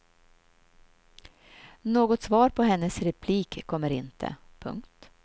Något svar på hennes replik kommer inte. punkt